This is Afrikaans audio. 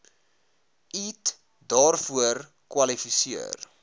eat daarvoor kwalifiseer